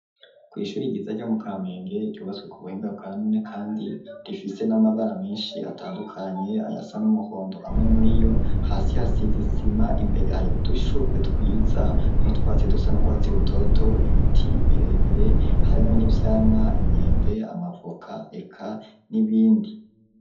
Kw,ishuri ryiza ryo mu Kamenge ryubatswe ku buhinga bwa none, kandi rifise n'amabara menshi atandukanye, ayasa n'umuhondo, amwe muri yo hasi hasiz'isima imbere hari udushurwe twiza n'utwatsi dusa n'urwatsi rutoto, ibiti birebire harimwo n'ivyamwa inyembe, amavoka eka n'ibindi.